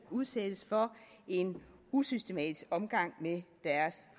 udsættes for en usystematisk omgang med deres